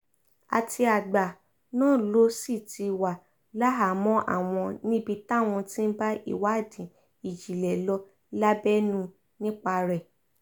àtìgbà náà ló sì ti wà láhàámọ̀ àwọn níbi táwọn ti ń bá ìwádìí ìjìnlẹ̀ lọ lábẹ́nú nípa rẹ̀